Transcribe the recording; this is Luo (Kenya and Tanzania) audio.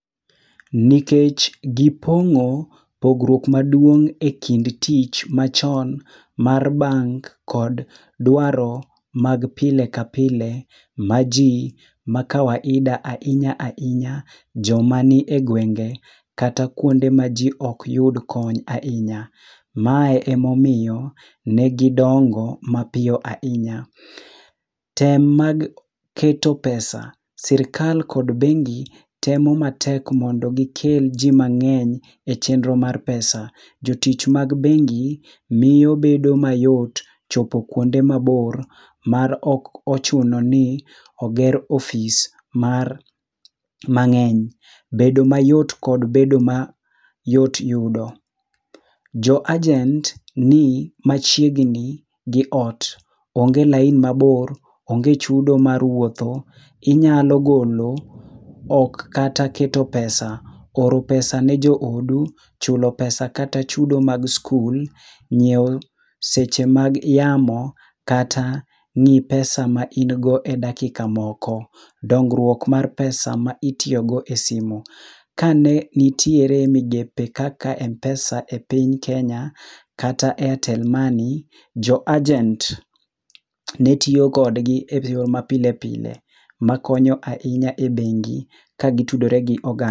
Nikech gi pongo pogruok maduong' e kin tich machon mar bank kod dwaro mag pile ka pile ma ji ma kawaida ahinya ahinya jo mani e gwenge ge kata ku ma ji ok yud kony ahinya. Mae e ma omiyo ne gi dongo ma piyo ahinya .Tem mag keto pesa sirkal kod bengi temo matek maondo gi kel ji mang'eny e chenro mar pesa jo tich mag bengi miyo bedo chopo kuonde ma bor mar ok ochuno ni oger office mang'eny bedo mayot kod bedo mayot yudo jo agent n i machiegni gi ot, onge lain ma bor onge chudo mar wuotho inyalo golo ok kata keto pesa, oro pesa ne jo odu, chulo pesa kata chudo mag skul, ngiewo seche mag yamo kata ngi pesa ma in go e dakika moko. dongruok mar pesa ma itiyo go e simo ka ne nitie migepe kaka mpesa e piny kenya kata airtel money[cs jo agent ne tiyo kod [ ?]ma pilepile ma konyo e bengi ka gi tiyo gi oganda.